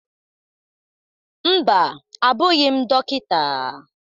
Mba, abụghị m dọkịta